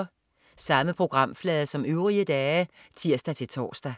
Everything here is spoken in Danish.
Samme programflade som øvrige dage (tirs-tors)